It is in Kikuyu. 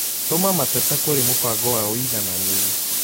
Tuma mateta kũrĩ mũbango wa ũigananĩru